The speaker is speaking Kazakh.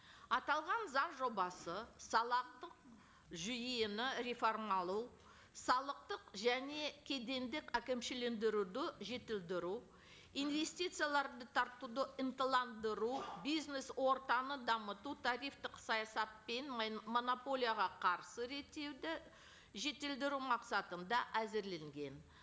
аталған заң жобасы жүйені салықтық және кедендік әкімшілендіруді жетілдіру инвестицияларды тартуды ынталандыру бизнес ортаны дамыту тарифтік саясат пен монополияға қарсы реттеуді жетілдіру мақсатында әзірленген